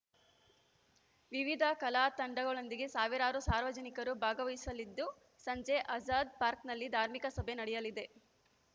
ವಿವಿಧ ಕಲಾತಂಡಗಳೊಂದಿಗೆ ಸಾವಿರಾರು ಸಾರ್ವಜನಿಕರು ಭಾಗವಹಿಸಲಿದ್ದು ಸಂಜೆ ಆಜಾದ್‌ ಪಾರ್ಕನಲ್ಲಿ ಧಾರ್ಮಿಕ ಸಭೆ ನಡೆಯಲಿದೆ